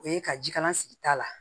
O ye ka jikalan sigi ta la